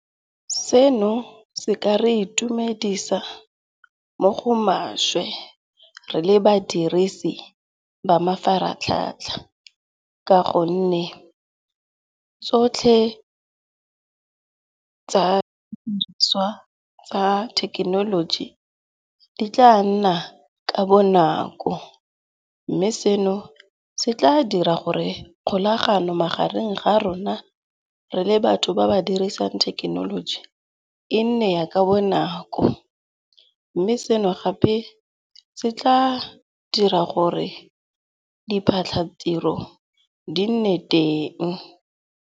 Seno se ka re itumedisa mo go maswe re le badirisi ba mafaratlhatlha ka gonne tsotlhe tsa thekenoloji di tla nna ka bonako. Mme seno se tla dira gore kgolagano magareng ga rona re le batho ba ba dirisang thekenoloji e nne ya ka bonako. Mme seno gape se tla dira gore diphatlhatiro di nne teng.